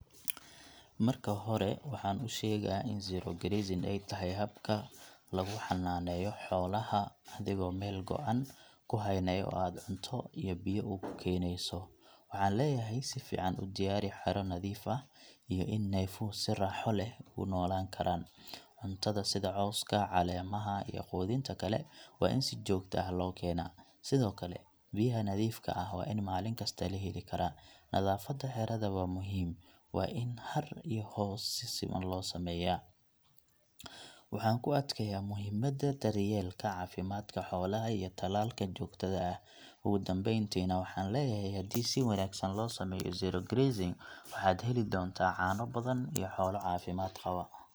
Marka hore, waxaan u sheegaa in zero grazing ay tahay habka lagu xannaneeyo xoolaha adigoo meel go'an ku haynaya oo aad cunto iyo biyo ugu keenayso. Waxaan leeyahay, si fiican u diyaari xero nadiif ah iyo in neefuhu si raaxo leh u noolaan karaan. Cuntada sida cawska, caleemaha iyo quudinta kale, waa in si joogto ah loo keenaa. Sidoo kale, biyaha nadiifka ah waa in maalin kasta la heli karaa. Nadaafadda xerada waa muhiim, waa in hadh iyo hoos si siman loo sameeyaa. Waxaan ku adkeeyaa muhiimadda daryeelka caafimaadka xoolaha iyo tallaalka joogtada ah. Ugu dambaynti na waxaan leeyahay, haddii si wanaagsan loo sameeyo zero grazing, waxaad heli doontaa caano badan iyo xoolo caafimaad qaba.